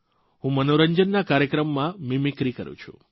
હું મનોરંજનના કાર્યક્રમમાં મીમીક્રી કરૂં છું